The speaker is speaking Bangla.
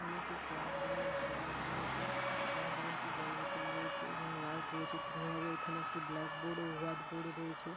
এখানে একটি ক্লাসরুম -এর ছবি দেখানো হয়েছে। ক্লাসরুম -এ একটি জল বোতল রয়েছে এবং লাইট রয়েছে। তিন ভাবে এখানে একটি ব্লাকবোর্ড -ও হোয়াইটবোর্ড -ও রয়েছে।